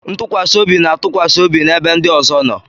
Ntụkwasị obi na-atụkwasị obi n'ebe ndị ọzọ nọ.